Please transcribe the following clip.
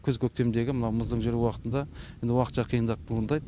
күз көктемдегі мына мызың жер уақытында енді уақытша қиындық туындайды